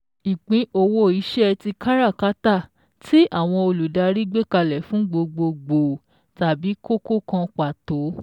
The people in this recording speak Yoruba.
Ìpín owó iṣẹ́ tí káràkátà tí àwọn olùdarí gbékalẹ̀ fún gbogbo gbòò tàbí kókó kan pàtó